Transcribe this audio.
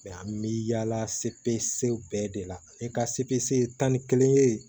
an bɛ yaala sepu bɛɛ de la ne ka sepse tan ni kelen ye